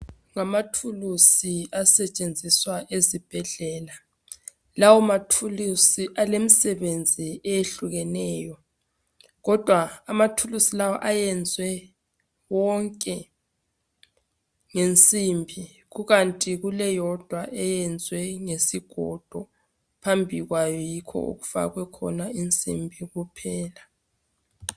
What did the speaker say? ngamathulusi asetshenziswa ezibhedlela lawo mathulusi alemisebenzi eyehlukeneyo kodwa amathulusi lawa ayenziwe wonke ngensimbi kukanti kuleyodwa eyenziwe ngesigodo phambi kwayo yikho okufakwe khona insimbi kuphela